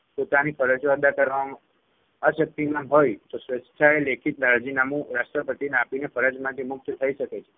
પોતાની ફરજો અદા કરવામાં અશક્તિમાન હોય તો સ્વેચ્છાએ લેખિત રાજીનામું રાષ્ટ્રપતિને આપીને ફરજમાંથી મુક્ત થઇ શકે છે.